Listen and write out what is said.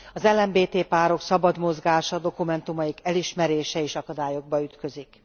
Az LMBT párok szabad mozgása, dokumentumaik elismerése is akadályokba ütközik.